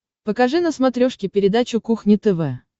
покажи на смотрешке передачу кухня тв